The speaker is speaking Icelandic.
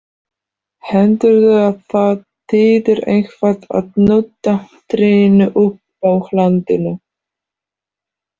Heldurðu að það þýði eitthvað að nudda trýninu uppúr hlandinu!